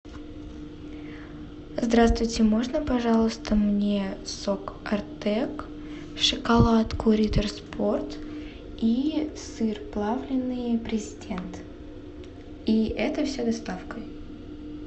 здравствуйте можно пожалуйста мне сок артек шоколадку риттер спорт и сыр плавленый президент и это все доставкой